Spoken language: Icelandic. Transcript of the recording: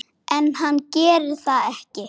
En hann gerir það ekki.